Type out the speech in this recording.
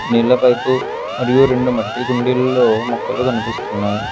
నీళ్ల పైపు మరియు రెండు మట్టి కుండీల్లో మొక్కలు కనిపిస్తున్నాయి.